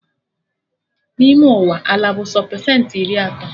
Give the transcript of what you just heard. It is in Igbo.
N'ime Ụwa, ala bụ sọ pesentị iri atọ